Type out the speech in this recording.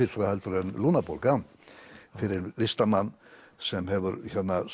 heldur en lungnabólgan fyrir listamann sem hefur